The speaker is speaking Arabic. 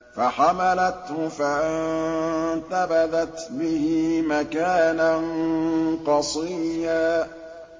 ۞ فَحَمَلَتْهُ فَانتَبَذَتْ بِهِ مَكَانًا قَصِيًّا